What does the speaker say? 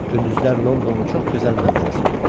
Gündüzlər Londonun çox gözəl mənzərəsi olurdu.